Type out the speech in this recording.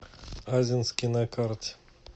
азинский на карте